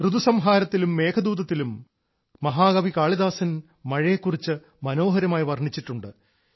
ഋതു സംഹാരത്തിലും മേഘദൂതത്തിലും മഹാകവി കാളിദാസൻ മഴയെക്കുറിച്ച് മനോഹരമായി വർണിച്ചിട്ടുണ്ട്